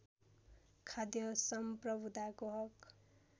खाद्य सम्प्रभुताको हक